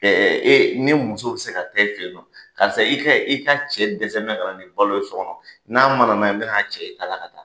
ne muso bi se ka taa e fe yen nɔ. Karisa i ka i ka cɛ dɛsɛnbɛ kana ni balo ye sɔ kɔnɔ. N'a mana n'a ye n bɛn'a cɛ i da la ka taa.